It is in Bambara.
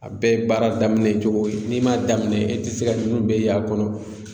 A bɛɛ ye baara daminɛ cogo ye n'i m'a daminɛ i tɛ se ka ninnu bɛɛ y'a kɔnɔ